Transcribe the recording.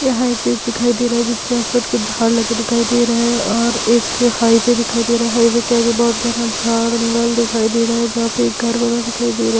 यहाँ एक दिखाई दे रहा है के आसपास कुछ झाड़ लगे दिखाई दे रहें हैं और एक हाइवे दिखाई दे रहा है हाइवे के आगे बहुत घना झा जंगल दिखाई दे रहा है जहाँ पे एक घर बना दिखाई दे रहा है।